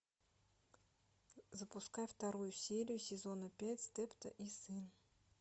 запускай вторую серию сезона пять степто и сын